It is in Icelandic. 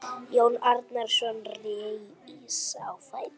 Jón Arason reis á fætur.